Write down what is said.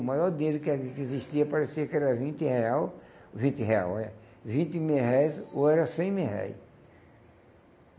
O maior dinheiro que ah que existia parecia que era vinte real, vinte real, olha, vinte mil réis ou era cem mil réis.